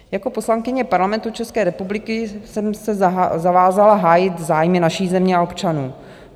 Jako poslankyně Parlamentu České republiky jsem se zavázala hájit zájmy naší země a občanů.